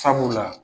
Sabula